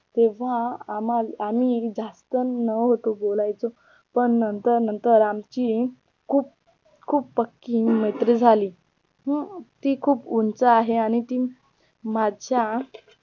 तेव्हा आम्हा आम्ही जास्त न होतं बोलायचं पण नंतर नंतर आमची खूप खूप पक्की मैत्री झाली हम्म ती खूप उंच आहे आणि ती माझ्या